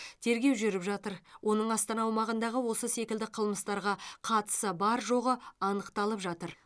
тергеу жүріп жатыр оның астана аумағындағы осы секілді қылмыстарға қатысы бар жоғы анықталып жатыр